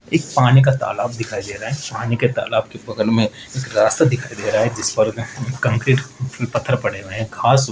एक पानी का तालाब दिखाई दे रहा है पानी के तालाब के बगल में रास्ता दिखाई दे रहा है जिस पर कंक्रीट पत्थर पड़े हुए हैं घास --